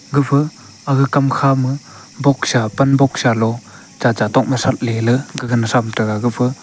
gapha aga kam khama boksha pan boksha lo chacha tokma shratley ley gaga na thram tega gapha--